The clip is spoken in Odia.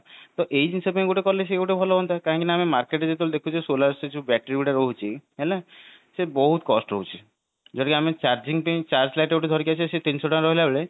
ତ ଏଇ ଜିନିଷ ପାଇଁ କଲେ ଭଲ ହୁଅନ୍ତା କାହିଁକି ନା ଆମେ market ରେ ଯେତେବେଳେ ଦେଖୁଛେ solar ସେ ଯୋଉ battery ଗୁଡା ରହୁଛି ହେଲା ସେ ବହୁତ cost ରହୁଛି ଯଦି ଆମେ charging ପାଇଁ charge light ଯୋଉ ଧରିକି ଆଇଲେ ସେ ତିନିଶହ ଟଙ୍କା ରହିଲା ବେଳେ